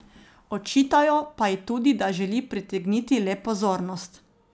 Očitajo pa ji tudi, da želi pritegniti le pozornost.